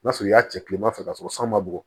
N'a sɔrɔ i y'a ci kilema fɛ ka sɔrɔ san ma bɔ